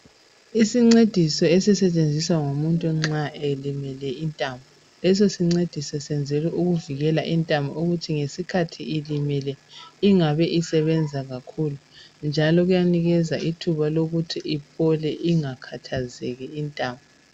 Isincediso esisetshenziswa ngumuntu nxa elimele intamo. Leso sincediso senzelwa ukuvikela intamo ukuthi ngesikhathi ilimele ingabi isebenza kakhulu, njalo kuyanikeza ithuba lokuthi iphole, ingakhathazeki intamo.